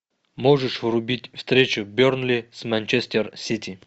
можешь врубить встречу бернли с манчестер сити